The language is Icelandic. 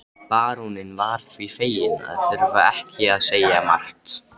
Baróninn var því feginn að þurfa ekki að segja margt.